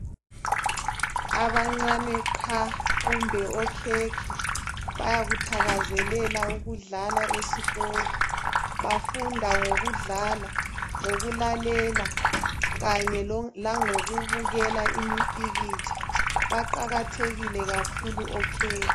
Abancani qha kumbe okhekhe bayakuthakazelela ukudlala esikolo . Bafunda ngokudlala ,ngokulalela kanye langokubukela imipikitsha . Baqakathekile kakhulu okhekhe